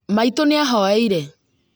Maitũ nĩ ahoeire